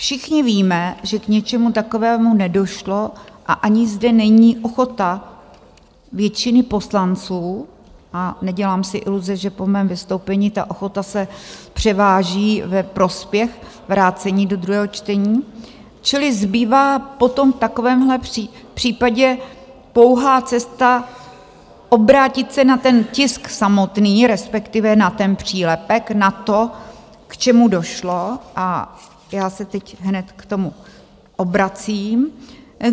Všichni víme, že k něčemu takovému nedošlo, a ani zde není ochota většiny poslanců, a nedělám si iluze, že po mém vystoupení ta ochota se převáží ve prospěch vrácení do druhého čtení, čili zbývá potom v takovémhle případě pouhá cesta obrátit se na ten tisk samotný, respektive na ten přílepek, na to, k čemu došlo, a já se teď hned k tomu obracím.